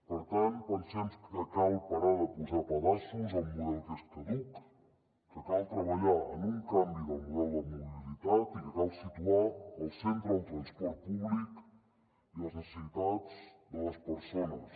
per tant pensem que cal parar de posar pedaços a un model que és caduc que cal treballar en un canvi del model de mobilitat i que cal situar al centre el transport públic i les necessitats de les persones